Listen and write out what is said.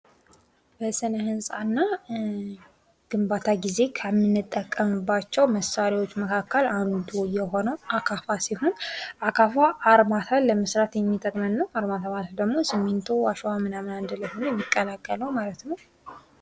በስነ ህንጻና ግንባታ ጊዜ ከምንጠቀምባቸው መሳሪያወች መካከል አንዱ የሆነው አካፋ ሲሆን አካፋ ኣርማታ ለመስራት የሚጠቅመን ነው። አርማታ ማለት ደግሞ ስሚንቶ አሸዋ ምናምን አንድላይ ሁኖ የሚቀላቀለው ማለት ነው።